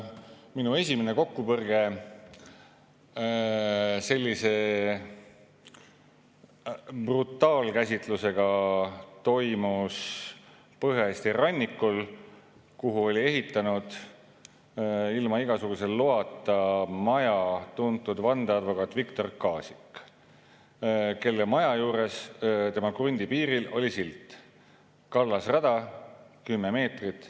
Minu esimene kokkupõrge sellise brutaalkäsitlusega toimus Põhja-Eesti rannikul, kuhu oli ehitanud ilma igasuguse loata maja tuntud vandeadvokaat Viktor Kaasik, kelle maja juures tema krundi piiril oli silt "Kallasrada 10 meetrit.